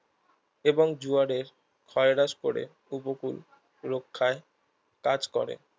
এবং জোয়ারের ক্ষয়রাস পরে উপকূল রক্ষায় কাজ করে